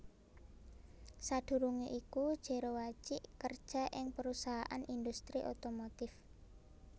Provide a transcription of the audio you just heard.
Sadurungé iku Jero Wacik kerja ing perusahaan industri otomotif